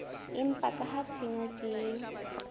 empa ka ha tshenyo ke